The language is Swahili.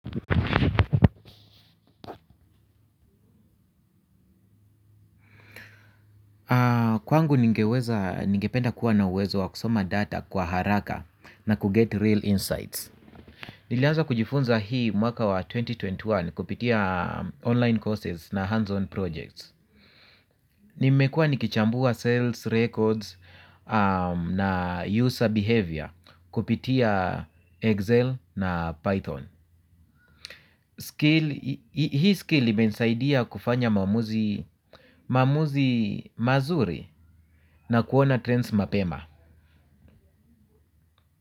Kwangu ningeweza, ningependa kuwa na uwezo wa kusoma data kwa haraka na kuget real insights. Nilianza kujifunza hii mwaka wa elfu mbili na ishirini na moja kupitia online courses na hands-on projects. Nimekua nikichambua sales records na user behavior kupitia Excel na Python. Skill, hii skill imenisaidia kufanya maamuzi mazuri na kuona trends mapema.